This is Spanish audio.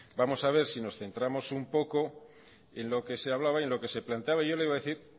vamos a ver si nos centramos un poco en lo que se hablaba y en lo que se planteaba yo le iba a decir